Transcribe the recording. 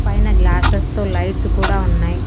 పైన గ్లాస్సెస్ తో లైట్స్ కూడా ఉన్నాయి.